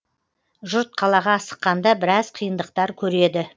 жұрт қалаға асыққанда біраз қиындықтар көреді